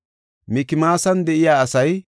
Imera yarati 1,052;